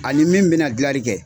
Ani min bɛna gilali kɛ.